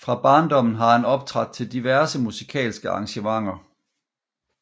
Fra barndommen har han optrådt til diverse musikalske arrangementer